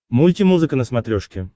мульти музыка на смотрешке